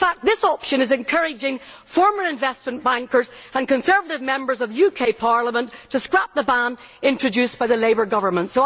In fact this option is encouraging former investment bankers and Conservative Members of the UK Parliament to scrap the ban introduced by the Labour Government.